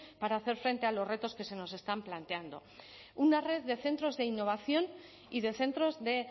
para hacer frente a los retos que se nos están planteando una red de centros de innovación y de centros de